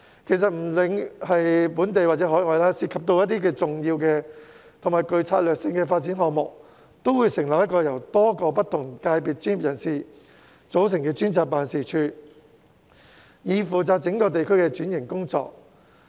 其實，不論是本地或海外，凡涉及重要且具策略性的發展項目，往往會成立由各界專業人士組成的專責辦事處，以負責整個地區的轉型工作。